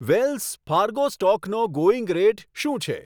Wales Fargo સ્ટોકનો going rate શું છે